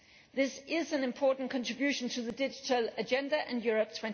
This is an important contribution to the Digital Agenda and Europe